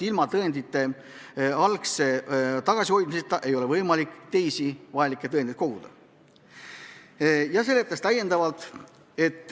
Ilma tõendeid algul enda käes hoidmata ei ole võimalik uusi vajalikke tõendeid koguda.